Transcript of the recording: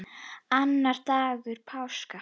Annar dagur páska.